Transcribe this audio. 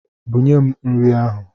Bunye m nri ahụ!